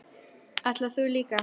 Ætlar þú líka?